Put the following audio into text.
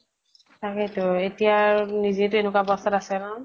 তাকেতো এতিয়া আৰু নিজে তো এনেকুৱা অৱ্স্থা ত আছে ন ?